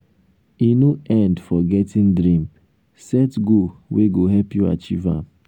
e no end for getting dream set goal wey go help you achieve am.